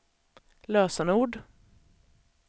lösenord